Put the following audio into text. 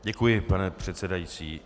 Děkuji, pane předsedající.